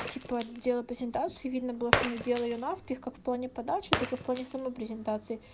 типа делал презентацию и видно было что он делал её наспех как в плане подачи так и в плане самой презентации